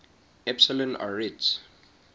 epsilon arietids